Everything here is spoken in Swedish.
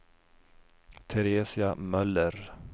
Teresia Möller